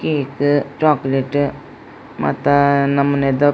Cake chocolate ಮಾತ ನಮುನಿದ.